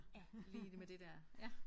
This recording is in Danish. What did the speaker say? Ja lige med det der ja